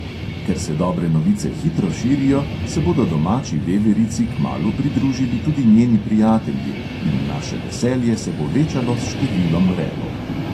Ker se dobre novice hitro širijo, se bodo domači veverici kmalu pridružili tudi njeni prijatelji in naše veselje se bo večalo s številom repov.